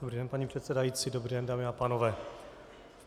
Dobrý den, paní předsedající, dobrý den, dámy a pánové.